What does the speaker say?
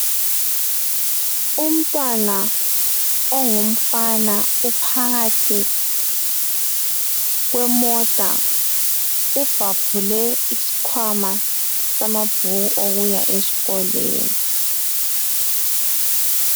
Umntwana ongumfana uphakathi kwemota ubhabhule isikhwama samabhuku okuya esikolweni.